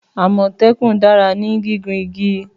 Àmòtékùn dara ni gigun igi.